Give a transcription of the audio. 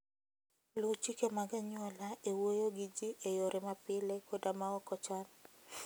Luw chike mag anyuola e wuoyo gi ji e yore mapile koda maok ochan.